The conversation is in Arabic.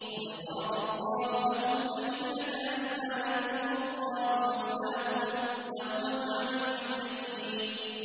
قَدْ فَرَضَ اللَّهُ لَكُمْ تَحِلَّةَ أَيْمَانِكُمْ ۚ وَاللَّهُ مَوْلَاكُمْ ۖ وَهُوَ الْعَلِيمُ الْحَكِيمُ